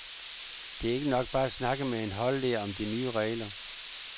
Det er ikke nok bare at snakke med en holdleder om de nye regler.